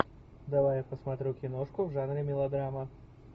давай я посмотрю киношку в жанре мелодрама